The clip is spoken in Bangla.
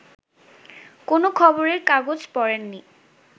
কোনো খবরের কাগজ পড়েননি